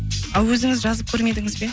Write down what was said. ал өзіңіз жазып көрмедіңіз бе